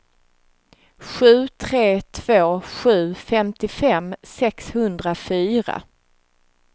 sju tre två sju femtiofem sexhundrafyra